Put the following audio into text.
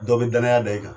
Dɔ bɛ danaya da i kan